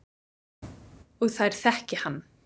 Og þær þekki hann.